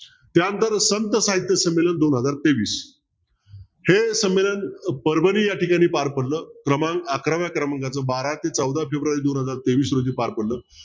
त्या नंतर संत साहित्य संमेलन दोन हजार तेवीस हे संमेलन परभणी या ठिकाणी ते पार पडलं प्रमाण अकराव्या क्रमांकातलं बारा ते चौदा फेब्रुवारी दोन हजार तेवीस रोजी पार पडलं.